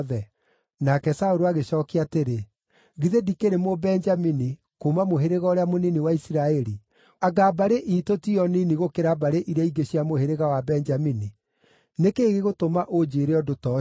Nake Saũlũ agĩcookia atĩrĩ, “Githĩ ndikĩrĩ Mũbenjamini, kuuma mũhĩrĩga ũrĩa mũnini wa Isiraeli? Anga mbarĩ iitũ tiyo nini gũkĩra mbarĩ iria ingĩ cia mũhĩrĩga wa Benjamini? Nĩ kĩĩ gĩgũtũma ũnjĩĩre ũndũ ta ũcio?”